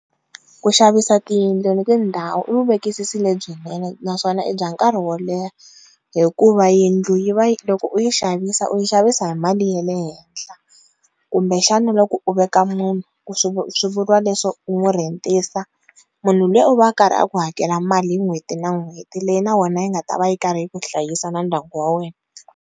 Ku xavisa tiyindlu ni tindhawu i vuvekisisi lebyinene naswona i bya nkarhi wo leha hikuva yindlu yi va yi loko u yi xavisa u yi xavisa hi mali ya le henhla kumbexana loko u veka munhu ku swi va swi vuriwa leswo ho rhentisa munhu luya u va a karhi a ku hakela mali n'hweti na n'hweti leyi na wena yi nga ta va yi karhi yi ku hlayisa na ndyangu wa wena.